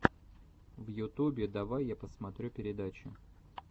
в ютубе давай я посмотрю передачи